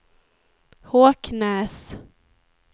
Håknäs